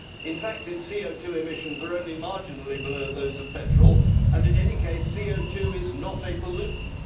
In fact its CO2 emissions are only marginally below those of petrol, and, in any case, CO2 is not a pollutant.